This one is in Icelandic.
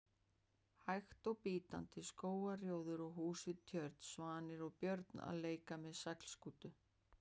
hægt og bítandi: skógarrjóður og hús við tjörn, svanir og börn að leik með seglskútu.